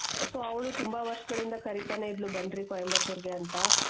so ಅವ್ಳು ತುಂಬಾ ವರ್ಷಗಳಿಂದ ಕರಿತನೆ ಇದ್ಲು ಬನ್ರಿ ಕೊಯಿಮತ್ತುರ್ ಗೆ ಅಂತ .